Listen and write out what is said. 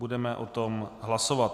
Budeme o tom hlasovat.